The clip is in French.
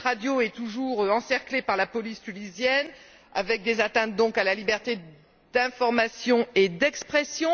Cette radio est toujours encerclée par la police tunisienne, avec des atteintes, donc, à la liberté d'information et d'expression.